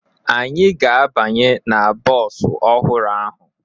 Anyị ga-abanye na bọọsụ ọhụrụ ahụ